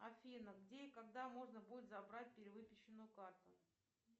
афина где и когда можно будет забрать перевыпущенную карту